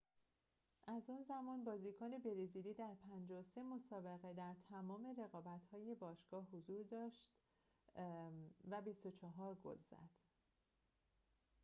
از آن زمان بازیکن برزیلی در ۵۳ مسابقه در تمام رقابت‌های باشگاه حضور برجسته‌ای داشت و ۲۴ گل زد